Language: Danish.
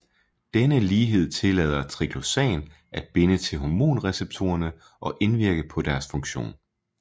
Denne lighed tillader triclosan at binde til hormonreceptorerne og indvirke på deres funktion